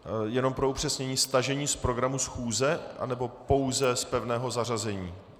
Jenom pro upřesnění: stažení z pořadu schůze, nebo pouze z pevného zařazení?